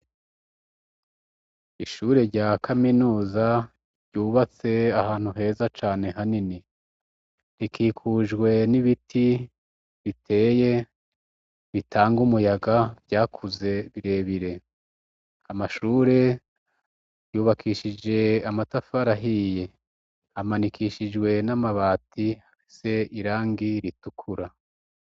Ishure rya kaminuza ryubatse ahantu heza cane hanini, rikikujwe n'ibiti biteye bitanga umuyaga vyakuze birebire, amashure yubakishije amatafari ahiye amanikishijwe n'amabati afise irangi ritukura.